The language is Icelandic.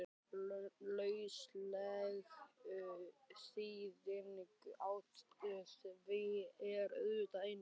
Lausleg þýðing á því er auðvitað Einsi!